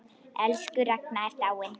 Elsku Ragna er dáin.